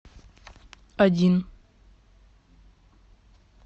один